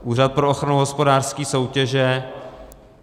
Úřad pro ochranu hospodářské soutěže.